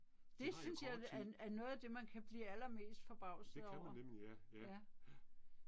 Det synes jeg er er noget af det man kan blive allermest forbavset over. Ja